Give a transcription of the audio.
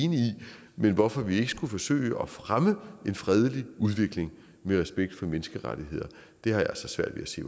men hvorfor vi ikke skulle forsøge at fremme en fredelig udvikling med respekt for menneskerettigheder har jeg altså svært ved at se